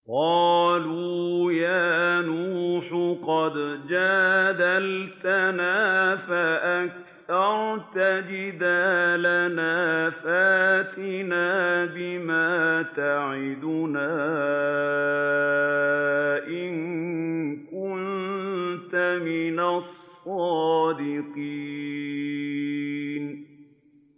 قَالُوا يَا نُوحُ قَدْ جَادَلْتَنَا فَأَكْثَرْتَ جِدَالَنَا فَأْتِنَا بِمَا تَعِدُنَا إِن كُنتَ مِنَ الصَّادِقِينَ